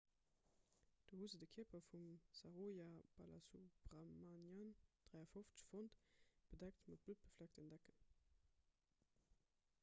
do hu se de kierper vum saroja balasubramanian 53 fonnt bedeckt mat bluttbefleckten decken